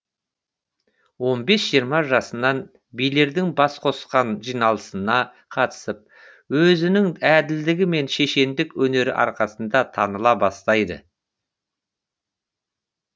он бес жиырма жасынан билердің бас қосқан жиналысына қатысып өзінің әділдігі мен шешендік өнері арқасында таныла бастайды